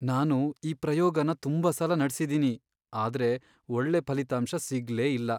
ನಾನು ಈ ಪ್ರಯೋಗನ ತುಂಬಾ ಸಲ ನಡ್ಸಿದೀನಿ, ಆದ್ರೆ ಒಳ್ಳೆ ಫಲಿತಾಂಶ ಸಿಗ್ಲೇ ಇಲ್ಲ.